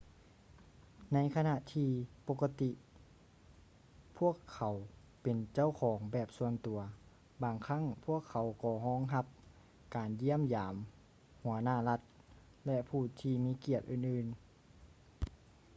ໃນຂະນະທີປົກກະຕິກພວກເຂົາເປັນເຈົ້າຂອງແບບສ່ວນຕົວ ບາງຄັ້ງພວກເຂົາກໍຮອງຮັບການຢ້ຽມຢາມຫົວໜ້າລັດ ແລະ ຜູ້ທີ່ມີກຽດອື່ນໆ